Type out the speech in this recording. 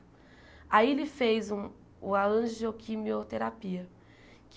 Aí ele fez um o a angioquimioterapia.